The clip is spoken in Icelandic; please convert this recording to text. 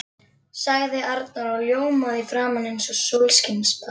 sagði Arnar og ljómaði í framan eins og sólskinsbarn.